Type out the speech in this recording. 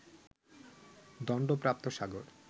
দন্ডপ্রাপ্ত সাগর